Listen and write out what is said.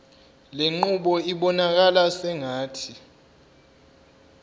lenqubo ibonakala sengathi